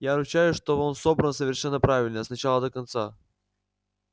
я ручаюсь что он собран совершенно правильно с начала до конца